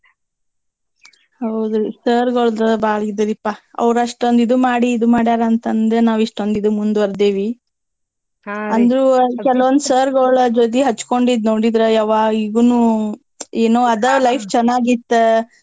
ಹೌದ್ರಿ sir ಗಳ್ದು ಇದರೀಪಾ ಅವ್ರ್ ಅಷ್ಟ ಇದು ಮಾಡಿ ಇದು ಮಾಡ್ಯಾರ ಅಂತಂದ್ರ ನಾವ್ ಇಷ್ಟೊಂದ್ ಇದು ಮುಂದುವರ್ದೇವಿ ಕೆಲವೊಂದ್ sir ಗೋಳ ಜೊತಿ ಹಚ್ಕೊಂಡಿದ್ ನೋಡಿದ್ರ ಯವ್ವಾ ಈಗೂನೂ ಏನೋ ಅದ life ಚನ್ನಗಿತ್ತಾ.